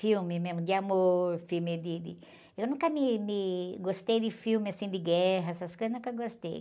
Filme mesmo de amor, filme de, de... Eu nunca me, me... Gostei de filme assim de guerra, essas coisas, nunca gostei.